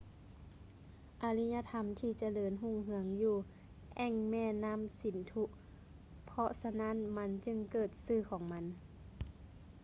ອາລິຍະທຳທີ່ຈະເລີນຮຸ່ງເຮືອງຢູ່ແອ່ງແມ່ນ້ຳສິນທຸ ເພາະສະນັ້ນມັນຈຶ່ງເກີດຊື່ຂອງມັນ